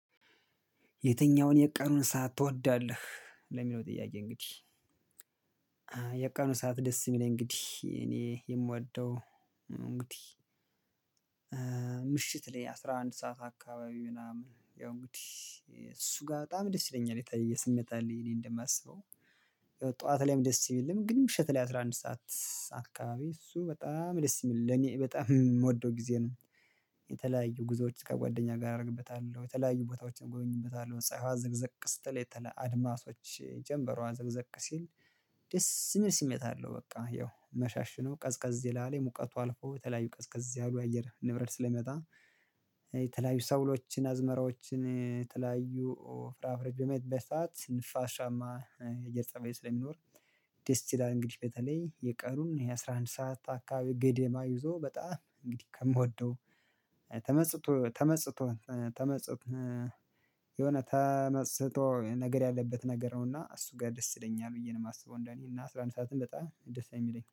የትኛውን የቀኑን ሰዓት ትወዳለህ ለሚለው ጥያቄ እንግዲህ የቀኑ ሰዓት ደስ የሚለኝ እንግዲህ እኔ የምወደው እንግዲህ ምሽት ላይ አስራ አንድ ሰዓት አካባቢ ምናምን ያው እንግዲህ እሱ ጋር በጣም ደስ ይለኛል የተለየ ስሜት አለኝ እኔ እንደማስበው ጠዋት ላይም ደስ ቢልም ግን ምሽት ላይ አስራ አንድ ሰዓት አካባቢ እሱ በጣም ደስ የሚል ለእኔ በጣም የምወደው ጊዜ ነው የተለያዩ ጉዞዎች ከጓደኛ ጋር አደርግበታለሁ የተለያዩ ቦታዎችን ጎበኝበታለሁ ፀሀይዋ ዘቅግዘቅ ስትል የተለ አድማሶች ጀምበሯ ዘግዘቅ ሲል ደስ የሚል ስሜት አለው በቃ ያው መሻሽኖ ቀዝቀዝ ይላል የሙቀቱ አልፎ የተለያዩ ቀዝቀዝ ያሉ አየር ንብረት ስለሚመጣ የተለያዩ ሰብሎችን አዝመራዎችን የተለያዩ ፍራፍሬ በሚኖሩበት ሰዓት ንፋሻማ የአየር ፀበይ ስለሚኖር ደስ ይላል እንግዲህ በተለይ የቀኑን ይሄ አስራ አንድ ሰዓት አካባቢ ገደማ ይዞ በጣም እንግዲህ ከምወደው ተመጽቶ ተመጽቶ ተመጽቶ የሆነ ተመስጦ ነገር ያለበት ነገር ነውና እሱ ጋር ደስ ይለኛል ብዬ ነው የማስበው እንደኔ እና አስራ አንድ ሰዓትም በጣም ደስ ነው የሚለኝ።